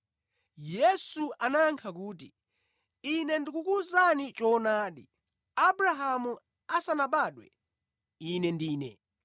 Yesu anayankha kuti, “Ine ndikukuwuzani choonadi, Abrahamu asanabadwe, Ine Ndine!”